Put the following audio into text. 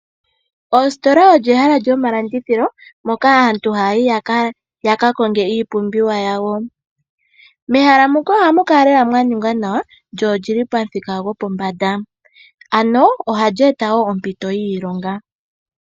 Ositola olyo ehala lyomalandithilo moka aantu haya yi ya ka konge iipumbiwa yawo. Mehala mu ka ohamu kala lela mwa ningwa nawa lyo oli li pamuthika gopombanda. Ohali eta wo ompito yiilonga.